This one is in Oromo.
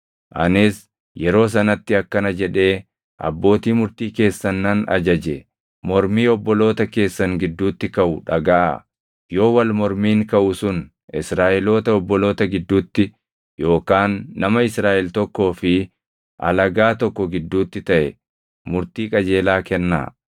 Anis yeroo sanatti akkana jedhee abbootii murtii keessan nan ajaje; “Mormii obboloota keessan gidduutti kaʼu dhagaʼaa; yoo wal mormiin kaʼu sun Israaʼeloota obboloota gidduutti yookaan nama Israaʼel tokkoo fi alagaa tokko gidduutti taʼe murtii qajeelaa kennaa.